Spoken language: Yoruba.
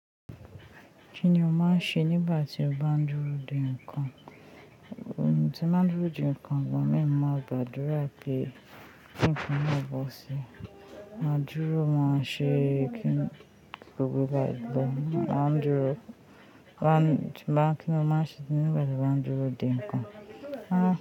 Kí ni o máa ń ṣe nígbà tí o bá ń dúró de nǹkan? Ohun tí ń máa ń dúró de nǹkan, igba mìí mo máa ń gbàdúrà pé ki nǹkan náà ó bọ́ sí. Ma dúró, máa ṣe kíńi gbowó bá ẹgbẹ́. Máa ń dúró, bá ń kíni ó máa ń ṣe nígbà tí wọ́n ń dúró de nǹkan. Ah.